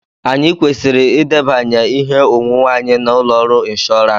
Anyị kwesịrị edebanye ihe onwunwe anyị na ụlọ ọrụ inshọọransi,